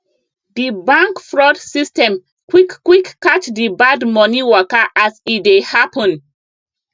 di bank fraud system quick quick catch the bad money waka as e dey happen